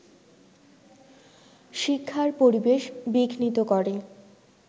শ্ক্ষিার পরিবেশ বিঘ্নিত করে